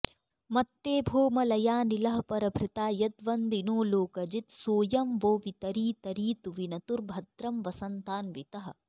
मत्तेभो मलयानिलः परभृता यद्वन्दिनो लोकजित् सोऽयं वो वितरीतरीतु विनतुर्भद्रं वसन्तान्वितः